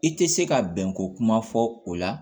I tɛ se ka bɛnko kuma fɔ o la